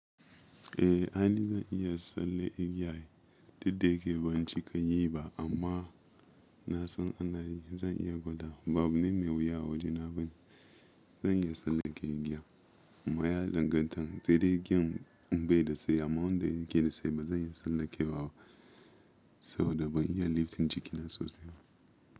Eh aini zan iya tsallan igiya. Duk da yake ban cika yi ba amma na san ana yi. Zan iya gwadawa. Ba abu ne mai wuya a waje na bani. Zan iya tsallake igiya amma ya danganta. Sai dai igiyan in bai da tsayi amma wanda yake da tsayi ba zan iya tsallakewa ba saboda ban iya lifting jikina sosai ba.